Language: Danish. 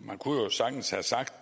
man kunne jo sagtens have sagt